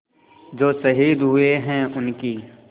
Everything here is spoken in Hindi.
जो शहीद हुए हैं उनकी